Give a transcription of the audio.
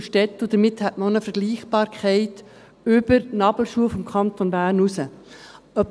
Damit hätte man auch eine Vergleichbarkeit über die Nabelschnur des Kantons Bern hinaus.